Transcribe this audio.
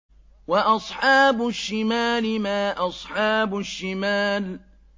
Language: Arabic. وَأَصْحَابُ الشِّمَالِ مَا أَصْحَابُ الشِّمَالِ